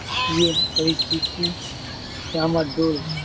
પરિસ્થિતિ રામધૂન